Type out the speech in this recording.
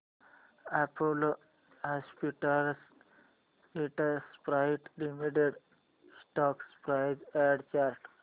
Apollo hospitals enterprise limited stock price and chart